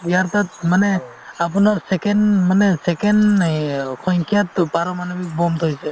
ইয়াৰ তাত মানে আপোনাৰ second মানে second এই অ সংখ্যাতো পাৰমাণৱিক bomb থৈছে